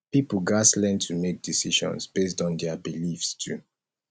pipo gatz learn to make decisions based on their own beliefs too